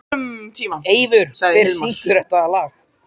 Eivör, hver syngur þetta lag?